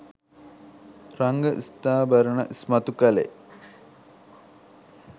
රංග ස්ත්‍රාභරණ ඉස්මතු කළේ